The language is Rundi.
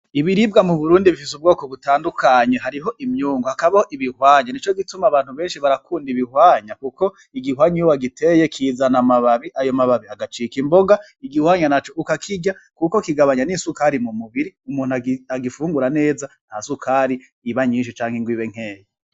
Ibiribga mu Burundi bifise ubgoko butandukanye ;hariho imyungu hakabaho ibihwanye nico gituma abantu benshi bakunda ibihwanya kuko igihwanya iyo wagiteye kizana amababi ayo mababi agacika imboga igihwanya naco ukakirya kuko kigabanya n'isukari mu mubiri umuntu agifungura neza nta sukari iba nyinshi canke nkeya.